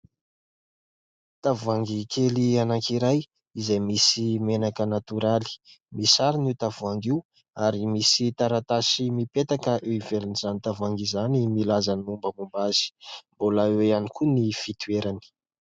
Tavoahangy kely anankiray izay misy menaka natoraly. Misarona io tavoahangy io ary misy taratasy mipetaka eo ivelan'izany tavoahangy izany milaza ny mombamomba azy mbola oe ihany koa ny fitoerany.